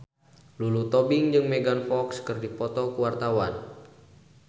Lulu Tobing jeung Megan Fox keur dipoto ku wartawan